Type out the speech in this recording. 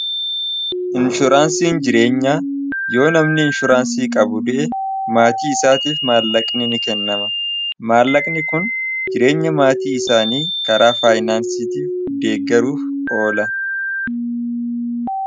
inshoraansiin jireenya yoo namni inshoraansii qabu de'e maatii isaatiif maallaqni ni kennama maallaqni kun jireenya maatii isaanii karaa faayinaansitiif deeggaruuf oola